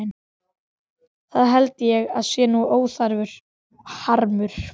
Það held ég sé nú óþarfur harmur.